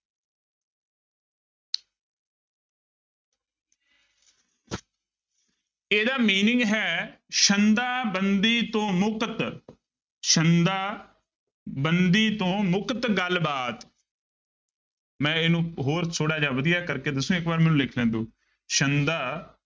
ਇਹਦਾ meaning ਹੈ ਸੰਦਾ ਬੰਦੀ ਤੋਂ ਮੁਕਤ ਸੰਦਾ ਬੰਦੀ ਤੋਂ ਮੁਕਤ ਗੱਲਬਾਤ ਮੈਂ ਇਹਨੂੰ ਹੋਰ ਥੋੜ੍ਹਾ ਜਿਹਾ ਵਧੀਆ ਕਰਕੇ ਦੱਸੂ, ਇੱਕ ਵਾਰ ਮੈਨੂੰ ਲਿਖ ਲੈਣ ਦਓ, ਸੰਦਾ